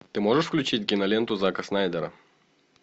ты можешь включить киноленту зака снайдера